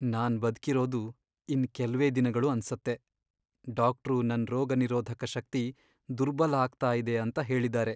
ನಾನ್ ಬದ್ಕಿರೋದು ಇನ್ನ್ ಕೆಲ್ವೇ ದಿನಗಳು ಅನ್ಸತ್ತೆ. ಡಾಕ್ಟ್ರು ನನ್ ರೋಗನಿರೋಧಕ ಶಕ್ತಿ ದುರ್ಬಲ ಆಗ್ತಾ ಇದೆ ಅಂತ ಹೇಳಿದಾರೆ.